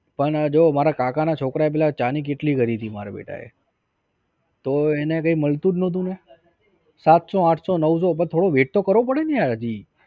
પણ જો મારા કાકાના છોકરાએ પેલા ચા ની કીટલી કરી તી મારા બેટાએ તો એને કઈ મળતું જ નતુ ને સાતસો આઠસો નવસો થોડો wait તો કરવો પડે ને યાર હજી